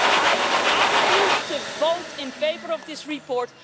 I ask the House to vote in favour of this report.